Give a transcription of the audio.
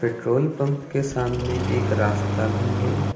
Petrol pump के सामने एक रास्ता भी है।